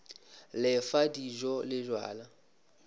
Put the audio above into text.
le fa dijo le bjala